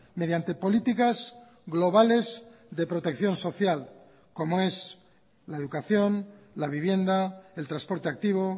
mediante políticas globales de protección social como es la educación la vivienda el transporte activo